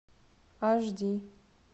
аш ди